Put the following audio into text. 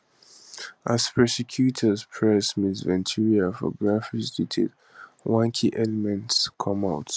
as prosecutors press ms ventura for graphic details one key element come out